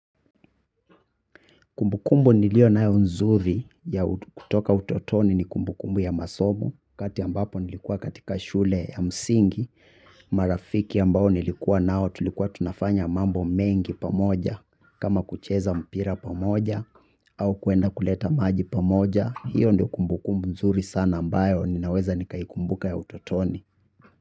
Kumbukumbu niliyo nayo nzuri ya kutoka utotoni ni kumbukumbu ya masomo wakati ambapo nilikuwa katika shule ya msingi marafiki ambao nilikuwa nao tulikuwa tunafanya mambo mengi pamoja kama kucheza mpira pamoja au kwenda kuleta maji pamoja hiyo ndo kumbukumbu nzuri sana ambayo ninaweza nikaikumbuka ya utotoni.